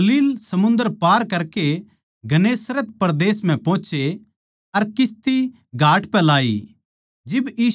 वे Galilee समुन्दर पार करके गन्नेसरत परदेस म्ह पोहोचे अर किस्ती घाट पै लाई